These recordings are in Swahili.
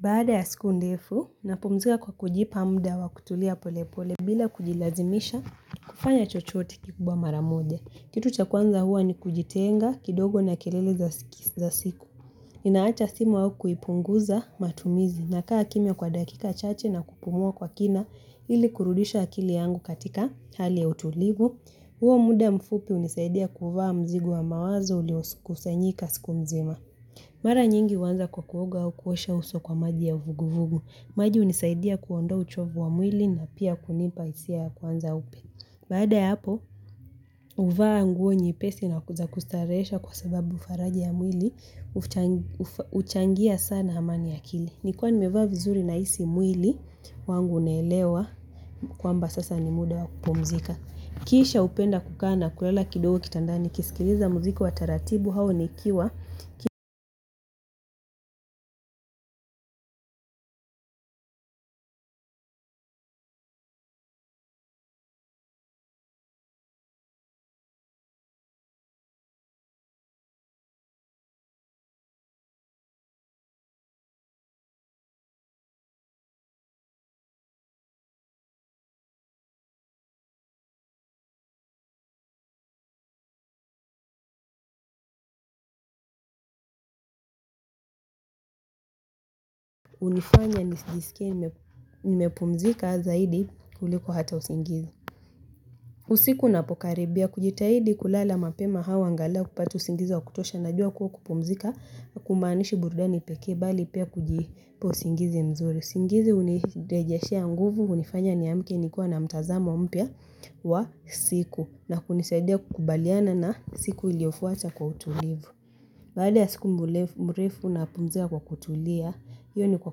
Baada ya siku ndefu, napumzika kwa kujipa mda wa kutulia polepole bila kujilazimisha kufanya chochote kikubwa mara moja. Kitu cha kwanza huwa ni kujitenga kidogo na kelele za siku. Ninaacha simu au kuipunguza matumizi. Nakaa kimya kwa dakika chache na kupumua kwa kina ili kurudisha akili yangu katika hali ya utulivu. Huo muda mfupi hunisaidia kuvaa mzigo wa mawazo uliokusanyika siku mzima. Mara nyingi huanza kwa kuoga au kuosha uso kwa maji ya vuguvugu. Maji hunisaidia kuondoa uchovu wa mwili na pia kunipa hisia ya kwanza upe. Baada ya hapo, huvaa nguo nyepesi na za kustarehesha kwa sababu faraja ya mwili huchangia sana amani ya akili. Nikiwa nimevaa vizuri nahisi mwili wangu unaelewa kwamba sasa ni muda wa kupumzika. Kisha hupenda kukaa na kulala kidogo kitandani kisikiliza mziki wa taratibu hau nikiwa hunifanya nijisikie nimepumzika zaidi kuliko hata usingizi. Usiku unapokaribia kujitahidi kulala mapema hao angalau kupata usingizi wa kutosha, najua kuwa kupumzika hakumaanishi burudani pekee, bali pia kujipa usingizi mzuri. Usingizi hunirejeshea nguvu, hunifanya niamke nikiwa na mtazamo mpya wa siku na kunisaidia kukubaliana na siku iliyofuata kwa utulivu. Baada ya siku mrefu napumzika kwa kutulia, hiyo ni kwa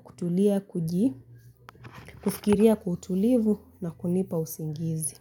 kutulia kuji, kufikiria kwa utulivu na kunipa usingizi.